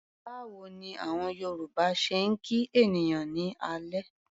Báwo ni àwọn Yorùbá ṣe ń kí ènìyàn ní alẹ́?